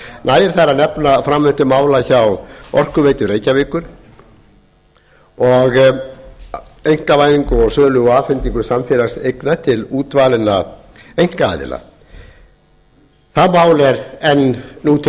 nægir að nefna framvindu mála hjá orkuveitu reykjavíkur einkavæðingu sölu og afhendingu samfélagseigna til útvalinna einkaaðila það mál er enn til umfjöllunar og